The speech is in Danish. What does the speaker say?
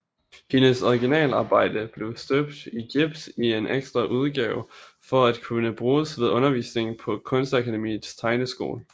Hendes originalarbejde blev støbt i gips i en ekstraudgave for at kunne bruges ved undervisningen på Kunstakademiets tegneskole